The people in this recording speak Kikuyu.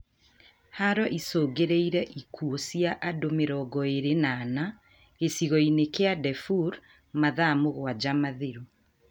Haro icũngĩrĩirie ikuũ cia andũ mĩrongo ĩrĩ na ana, gĩcigo-inĩ kia Daefur mathaa mũgwanja mathiru